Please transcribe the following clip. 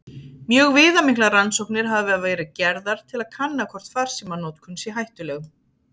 Mjög viðamiklar rannsóknir hafa verið gerðar til að kanna hvort farsímanotkun sé hættuleg.